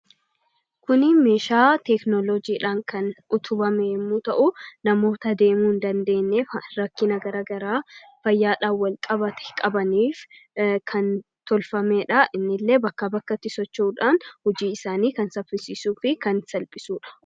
Kun meeshaa teekinooloojiin utubame yemmuu ta'u, namoota deemuu hin dandeenyeef, rakkina garaagaraa fayyaadhaan wal qabate qabaniif kan tolfamedha. Inni illee bakkaa bakkatti socho'uudhaan hojii isaanii kan saffisiisuu fi kan salphisudha.